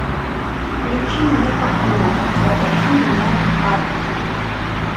включи мне картину затащи меня в ад